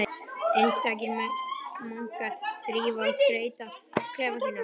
Einstakir munkar þrífa og skreyta klefa sína.